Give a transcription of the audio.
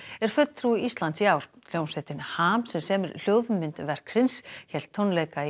er fulltrúi Íslands í ár hljómsveitin ham sem semur hljóðmynd verksins hélt tónleika í